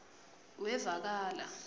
wevakala